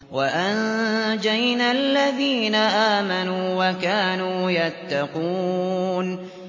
وَأَنجَيْنَا الَّذِينَ آمَنُوا وَكَانُوا يَتَّقُونَ